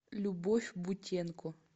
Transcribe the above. любовь бутенко